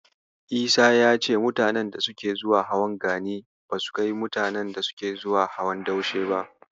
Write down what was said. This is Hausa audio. Isa ya ce mutanen da suke zuwa hawan Gani basu kai mutanen da suke zuwa hawan Daushe ba.